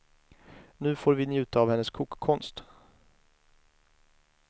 Nu får vi njuta av hennes kokkonst.